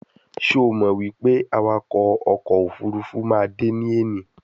Sho Mo wipe awako oko ofurufu ma de ni eni?